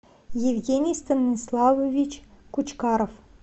евгений станиславович кучкаров